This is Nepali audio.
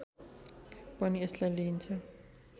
पनि यसलाई लिइन्छ